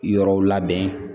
Yɔrɔw labɛn